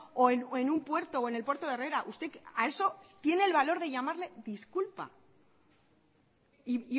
o en un puerto o en el puerto de herrera usted a eso tiene el valor de llamarle disculpa y